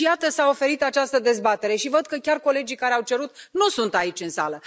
Și, iată, s a oferit această dezbatere, și văd că chiar colegii care au cerut o nu sunt aici în sală.